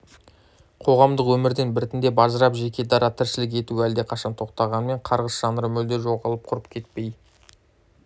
қоғамдық өмірден біртіндеп ажырап жеке дара тіршілік етуі әлдеқашан тоқтағанмен қарғыс жанры мүлде жоғалып құрып кетпей